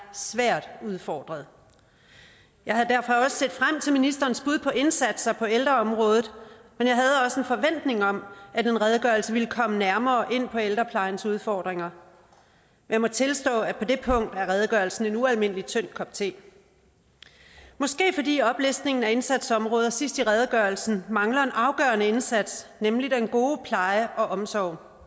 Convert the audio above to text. svært udfordret jeg havde derfor også set frem til ministerens bud på indsatser på ældreområdet men jeg havde også en forventning om at en redegørelse ville komme nærmere ind på ældreplejens udfordringer jeg må tilstå at på det punkt er redegørelsen en ualmindelig tynd kop te måske fordi oplistningen af indsatsområder sidst i redegørelsen mangler en afgørende indsats nemlig den gode pleje og omsorg